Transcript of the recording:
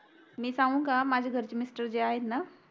मी सांगू का माझ्या घरचे Mister जे आहेत ना